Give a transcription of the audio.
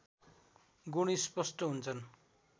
गुण स्पष्ट हुन्छन्